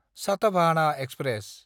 साथाभाहाना express